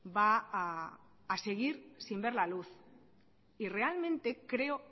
va a seguir sin ver la luz y realmente creo